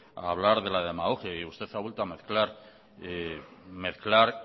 a hablar de la demagogia usted ha vuelto a mezclar